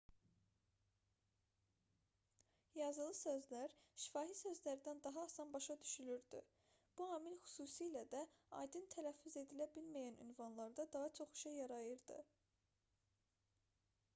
yazılı sözlər şifahi sözlərdən daha asan başa düşülürdü bu amil xüsusilə də aydın tələffüz edilə bilməyən ünvanlarda daha çox işə yarayırdı